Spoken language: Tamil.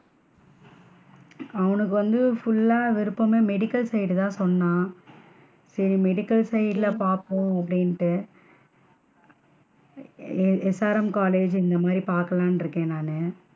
அவனுக்கு வந்து full லா விருப்பம் வந்து medical side தான் சொன்னான் சரி medical side ல பாப்போம் அப்படின்ட்டு SRM college இந்த மாதிரி பாக்கலாம்ன்னுட்டு இருக்கேன் நானு.